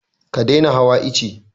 Ka daina hawa ice!